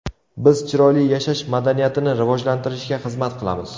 Biz chiroyli yashash madaniyatini rivojlantirishga xizmat qilamiz.